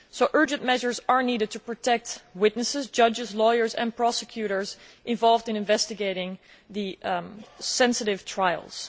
Urgent measures are needed to protect witnesses, judges, lawyers and prosecutors involved in investigating the sensitive trials.